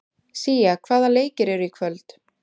Sía, hvaða leikir eru í kvöld?